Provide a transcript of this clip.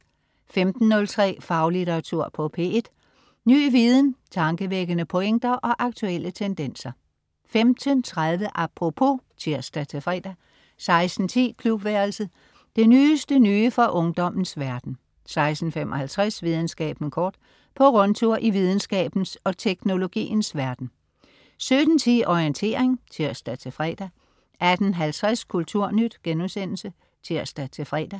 15.03 Faglitteratur på P1. Ny viden, tankevækkende pointer og aktuelle tendenser 15.30 Apropos (tirs-fre) 16.10 Klubværelset. Det nyeste nye fra ungdommens verden 16.55 Videnskaben kort. På rundtur i videnskabens og teknologiens verden 17.10 Orientering (tirs-fre) 18.50 Kulturnyt* (tirs-fre)